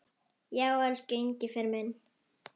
Já, elsku Engifer minn.